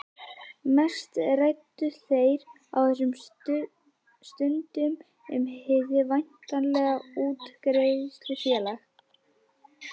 Mest ræddu þeir á þessum stundum um hið væntanlega útgerðarfélag.